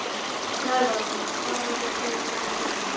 Snævar, hvað heitir þú fullu nafni?